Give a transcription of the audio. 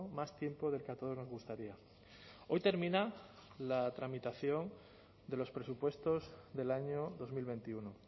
más tiempo del que a todos nos gustaría hoy termina la tramitación de los presupuestos del año dos mil veintiuno